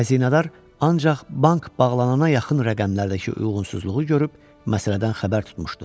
Xəzinədar ancaq bank bağlanana yaxın rəqəmlərdəki uyğunsuzluğu görüb məsələdən xəbər tutmuşdu.